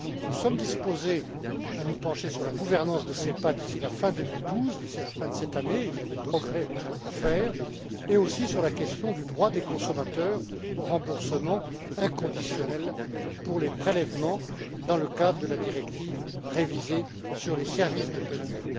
Nous sommes disposés à nous pencher sur la gouvernance de SEPA d'ici à la fin de cette année il y a des progrès à faire et aussi sur la question du droit des consommateurs au remboursement inconditionnel pour les prélèvements, dans le cadre de la directive révisée sur les services de paiement.